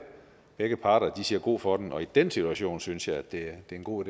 begge parter siger god for den og i den situation synes jeg at det en god